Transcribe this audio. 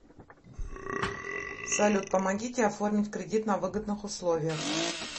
салют помогите оформить кредит на выгодных условиях